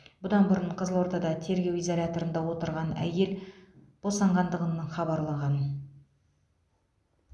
бұдан бұрын қызылордада тергеу изоляторында отырған әйел босанғанғандығын хабарлаған